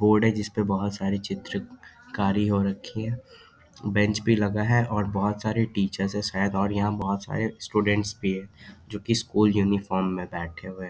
board है जिसपे बहुत सारे चित्र कारी हो रखी है बेंच भी लगा है और बहुत सारे टीचर्स है| और शायद यहाँ बहुत सारे स्टूडेंट्स भी है जो की स्कूल यूनिफार्म में बैठे हुए |